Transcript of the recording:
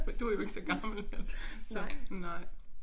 For du jo ikke så gammel så nej